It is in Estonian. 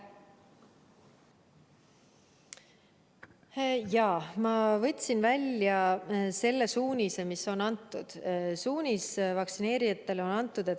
Ma võtsin välja selle suunise, mis vaktsineerijatele on antud.